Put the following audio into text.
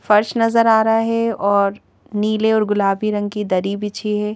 फर्श नजर आ रहा है और नीले और गुलाबी रंग की दरी बिछी है।